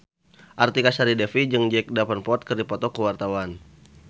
Artika Sari Devi jeung Jack Davenport keur dipoto ku wartawan